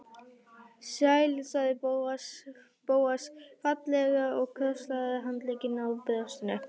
Sæll sagði Bóas fálega og krosslagði handleggina á brjóstinu.